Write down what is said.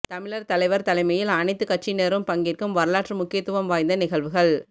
தமிழர் தலைவர் தலைமையில் அனைத்துக் கட்சியினரும் பங்கேற்கும் வரலாற்று முக்கியத்துவம் வாய்ந்த நிகழ்வுகள்